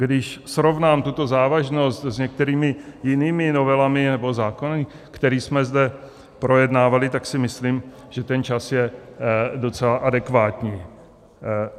Když srovnám tuto závažnost s některými jinými novelami nebo zákony, které jsme zde projednávali, tak si myslím, že ten čas je docela adekvátní.